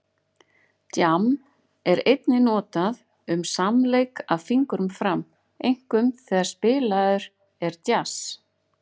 Djamm er einnig notað um samleik af fingrum fram, einkum þegar spilaður er djass.